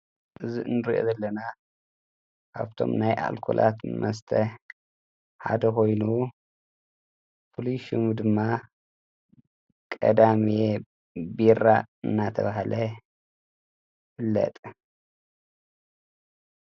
እዝ እንርእኢ ዘለና ኣብቶም ናይ ኣልኮላት መስተሕ ሓደ ኾይኑ ፍሉሹሙ ድማ ቀዳሜየ ቢራ እናተብሃለ ይፍለጥ ::